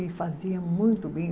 E fazia muito bem.